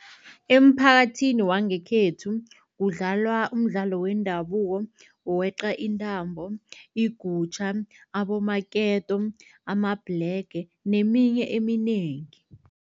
Emphakathini wangekhethu kudlalwa umdlalo wendabuko wokweqa intambo, igutjha, abomaketo, amabhlege neminye eminengi.